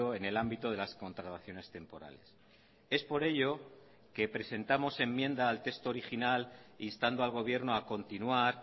en el ámbito de las contrataciones temporales es por ello que presentamos enmienda al texto original instando al gobierno a continuar